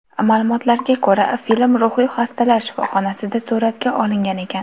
Ma’lumotlarga ko‘ra, film ruhiy xastalar shifoxonasida suratga olingan ekan?